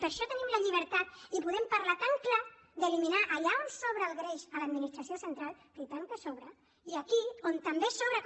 per això tenim la llibertat i podem parlar tan clar d’eliminar allà on sobra el greix a l’administració central i tant que en sobra i aquí on també sobra com